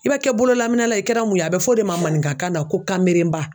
I bɛ kɛ bololaminɛna ye i kɛra mun ye a bɛ fɔ o de ma maninkakan na ko kamelenba